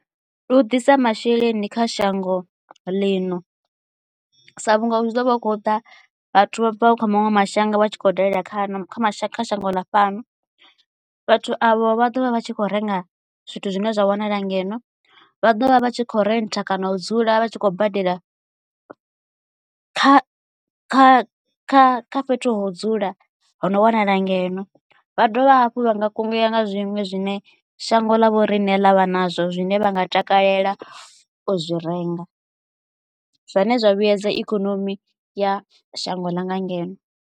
Ndi u ḓisa masheleni kha shango ḽino sa vhunga hu tshi ḓo vha hu khou ḓa vhathu vha bva kha maṅwe mashango vha tshi khou dalela kana kha mashango kha shango ḽa fhano. Vhathu avho vha ḓovha vha tshi kho renga zwithu zwine zwa wanala ngeno vha ḓovha vha tshi kho rentha kana u dzula vha tshi khou badela kha kha kha kha fhethu ho dzula ho no wanala ngeno vha dovha hafhu vha nga kungeya nga zwiṅwe zwine shango ḽa vho rine ḽavha nazwo zwine vha nga takalela u zwi renga zwine zwa vhuedza ikonomi ya shango ḽa nga ngeno.